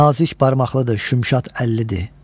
Nazik barmaqlıdır, şümşad əllidir.